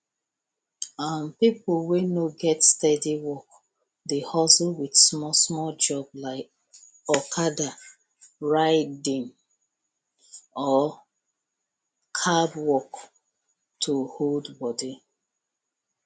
um people wey no get steady work dey hustle with smallsmall job like okada writing or cab work to hold body